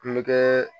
Kulonkɛ